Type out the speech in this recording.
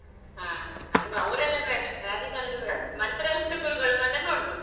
ಹಾ ನಮಗೆ ಅವ್ರೆಲ್ಲ ಬೇಡ ರಾಜಕಾರಣಿ ಬೇಡ Mantralaya ದ ಗುರುಗಳು ಬಂದ್ರೆ ನೋಡ್ಬೋದು.